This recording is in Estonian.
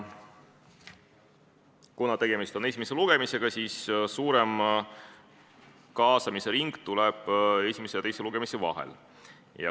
Kuna tegemist on esimese lugemisega, siis suurem kaasamisring tuleb esimese ja teise lugemise vahel.